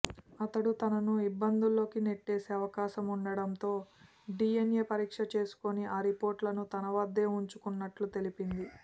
అతడు తనను ఇబ్బందుల్లోకి నెట్టేసే అవకాశం ఉండటంతో డిఎన్ఏ పరీక్ష చేసుకుని ఆ రిపోర్టులను తన వద్దే ఉంచుకున్నట్లు తెలిపింది